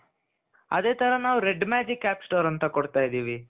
ಅದೇ ತರ ನಾವು Red Magic app store ಅಂತ ಕೊಡ್ತಾಯಿದ್ದೀವಿ.